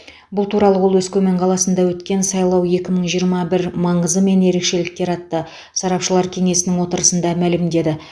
бұл туралы ол өскемен қаласында өткен сайлау екі мың жиырма бір маңызы мен ерекшеліктері атты сарапшылар кеңесінің отырысында мәлімдеді